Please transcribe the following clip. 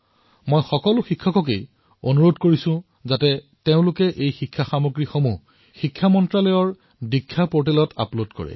মই সকলো শিক্ষকক আহ্বান জনাইছো যে এই পাঠ্যপুথিৰ সামগ্ৰীসমূহৰ শিক্ষা মন্ত্ৰালয়ৰ দীক্ষা পৰ্টেলত অৱশ্যেই আপলোড কৰক